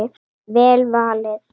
Vel valið.